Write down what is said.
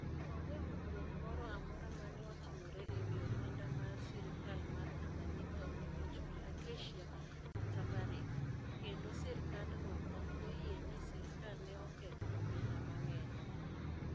Onge winjruok moro amora ma ne otimore e wi omenda ma sirkal mar Tanganyika onego ochul Acacia/Barrick, kendo sirkandno ok oyie ni sirkal ne oketho omenda mang'eny.